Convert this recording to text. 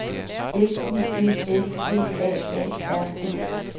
S I G S G A A R D